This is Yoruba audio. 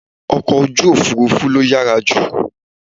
Ọkọ̀ ojú òfurufú ló yàrá jù.